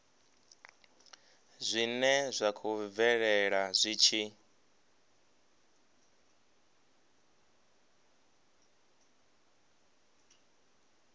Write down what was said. zwine zwa khou bvelela zwi